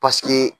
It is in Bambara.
Paseke